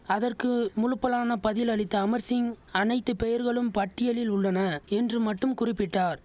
அதற்கு முழுப்பலான பதில் அளித்த அமர் சிங் அனைத்து பெயர்களும் பட்டியலில் உள்ளன என்று மட்டும் குறிப்பிட்டார்